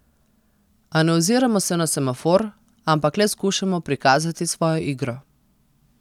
A ne oziramo se na semafor, ampak le skušamo prikazati svojo igro.